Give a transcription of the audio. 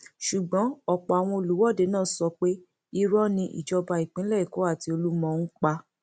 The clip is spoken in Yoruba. ṣùgbọn ọpọ àwọn olùwọde náà sọ pé irọ ni ìjọba ìpínlẹ èkó àti olúmọn ń pa